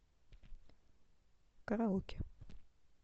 караоке